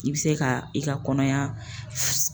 I bi se ka i ka kɔnɔya